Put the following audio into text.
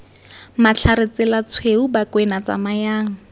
matlhare tsela tshweu bakwena tsamayang